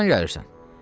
Hardan gəlirsən?